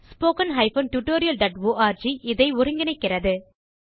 httpspoken tutorialorg இதை ஒருங்கிணைக்கிறது